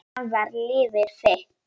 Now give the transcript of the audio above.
Fram var liðið þitt.